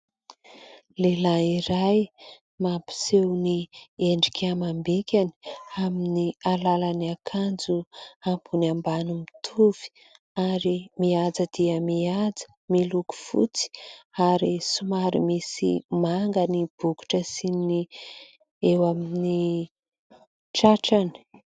Lehilahy iray mampiseho ny endrika amam-bikany amin'ny alalan'ny akanjo ambony ambany mitovy ary mihaja dia mihaja, miloko fotsy ary somary misy manga ny bokotra sy ny eo amin'ny tratrany.